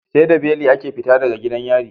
Seda beli ake fita daga gidan yari